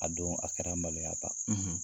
A dɔn , a kɛra maloya ba, .